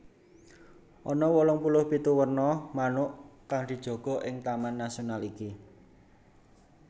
Ana wolung puluh pitu werna manuk kang dijaga ing taman nasional iki